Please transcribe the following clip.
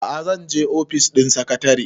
a'a zan je ofis ɗin sakatare